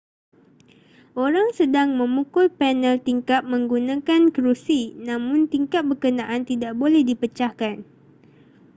orang sedang memukul panel tingkap menggunakan kerusi namun tingkap berkenaan tidak boleh dipecahkan